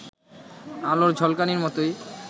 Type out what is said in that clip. আলোর ঝলকানির মতোই